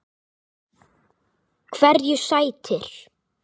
Hverju sætir?